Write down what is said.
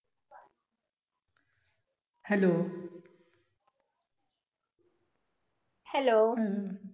Hello